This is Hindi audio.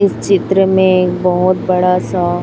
इस चित्र में एक बहोत बड़ा सा--